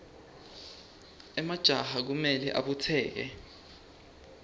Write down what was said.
emajaha kumele abutseke